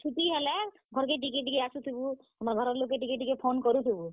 ଆର୍ ଛୁଟି ହେଲେ, ଘର୍ କେ ଟିକେ ଟିକେ ଆସୁଥିବୁ, ଘର ଲୋକ୍ କେ ଟିକେଟିକେ phone କରୁଥିବୁ।